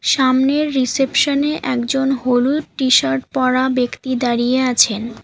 সামনের রিসেপশন -এ একজন হলুদ টি-শার্ট পরা ব্যক্তি দাঁড়িয়ে আছেন।